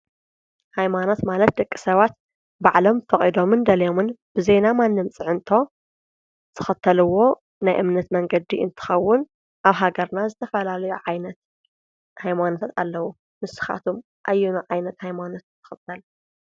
ሃይማኖት ማለት ደቂ ሰባት ባዕሎም ፈቒዶምን ደልዮምን ብዘይ ናይ ማንም ፅዕንቶ ዝኸተልዎ ናይ እምነት መንገዲ እንትኸውን ኣብ ሃገርና ዝተፈላለዮ ዓይነት ሃይማኖታት ኣለዉ፡፡ ንስኻትኩም ኣየኑ ዓይነት ሃይማኖት ትኽተሉ?